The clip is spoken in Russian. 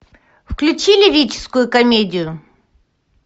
включи лирическую комедию